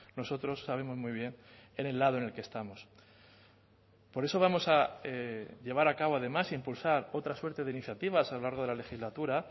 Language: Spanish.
nosotros sabemos muy bien en el lado en el que estamos por eso vamos a llevar a cabo además a impulsar otra suerte de iniciativas a lo largo de la legislatura